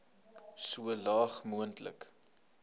so laag moontlik